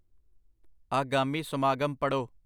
ਆਗਾਮੀ ਸਮਾਗਮ ਪੜ੍ਹੋ।